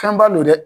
Fɛnba don dɛ